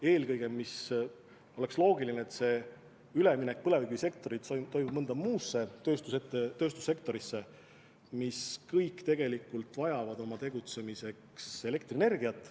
Eelkõige oleks loogiline, et põlevkivisektorist minnakse üle mõnda muusse tööstussektorisse, aga need kõik tegelikult vajavad oma tegutsemiseks elektrienergiat.